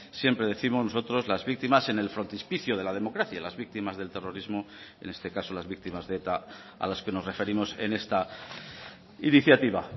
siempre décimos nosotros las víctimas en el frontispicio de la democracia las víctimas del terrorismo en este caso las víctimas de eta a las que nos referimos en esta iniciativa